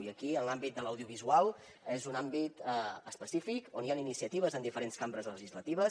i aquí l’àmbit de l’audiovisual és un àmbit específic i hi han iniciatives en diferents cambres legislatives